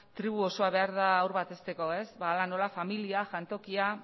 tribu osoa behar da haur bat hezteko ez hala nola familia jantokia